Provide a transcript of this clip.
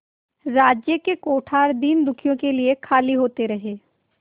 राज्य के कोठार दीनदुखियों के लिए खाली होते रहे